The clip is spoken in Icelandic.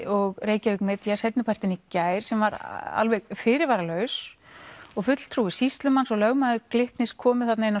og Reykjavík Media seinni partinn í gær sem var alveg fyrirvaralaus og fulltrúi sýslumanns og lögmaður Glitnis komu þarna inn